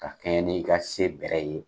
Ka kɛɲɛ ni i ka se bɛrɛ ye.